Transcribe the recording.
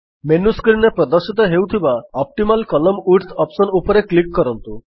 menu screen ରେ ପ୍ରଦର୍ଶିତ ହେଉଥିବା ଅପ୍ଟିମାଲ କଲମ୍ନ ୱିଡ୍ଥ ଅପ୍ସନ୍ ଉପରେ କ୍ଲିକ୍ କରନ୍ତୁ